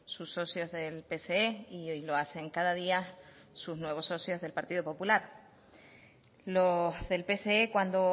sus socios del pse y hoy lo hacen cada día sus nuevos socios del partido popular los del pse cuando